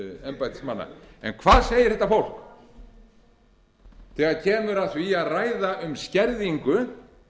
embættismanna hvað segir þetta fólk þegar kemur að því að ræða um skerðingu